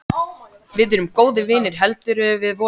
Við erum góðir vinir heldur við vorum.